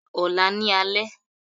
Ọ̀la ní alẹ́